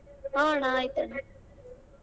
ಹ ಅಣ್ಣ ಆಯ್ತ್ ಅಣ್ಣ.